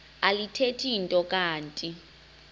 alithethi nto kanti